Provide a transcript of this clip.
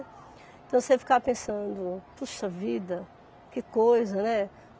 Então você ficava pensando, puxa vida, que coisa, né?